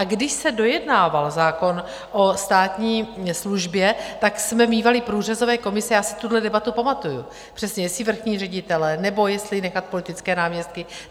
A když se dojednával zákon o státní službě, tak jsme mívali průřezové komise, já si tuhle debatu pamatuju přesně, jestli vrchní ředitelé, nebo jestli nechat politické náměstky.